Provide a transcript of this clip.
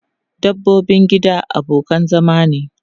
Dabbobin gida abokan zama ne.